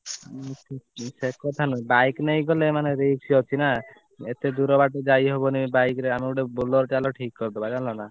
ସେ କଥା ନୁହ bike ନେଇକି ଗଲେ ମାନେ risk ଅଛି ନା ଏତେ ଦୂର ବାଟ ଯାଇ ହବନି bike ରେ ଆମେ ଗୋଟେ ବୋଲେର ଚାଲ ଠିକ କରିଦବା ଜାଣିଲ ନା।